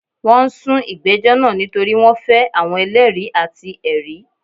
Wọ́n n sun ìgbẹ́jọ́ naa nítorí wọ́n fẹ́ àwọn eléèri àti èri